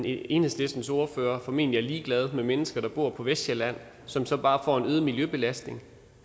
enhedslistens ordfører formentlig er ligeglad med mennesker der bor på vestsjælland som så bare får en øget miljøbelastning